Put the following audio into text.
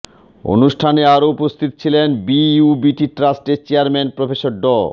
অনুষ্ঠানে আরও উপস্থিত ছিলেন বিইউবিটি ট্রাস্টের চেয়ারম্যান প্রফেসর ড